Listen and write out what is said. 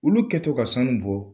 Olu kɛtɔ ka sanu bɔ